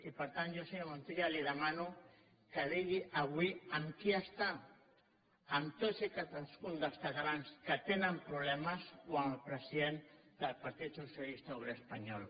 i per tant jo senyor montilla li demano que digui avui amb qui està amb tots i cadascun dels catalans que tenen problemes o amb el president del partit socialista obrer espanyol